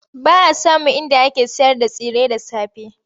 Ba a samun inda ake sayarda tsire da safe.